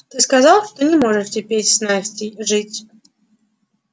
ты сказал что не можешь теперь с настей жить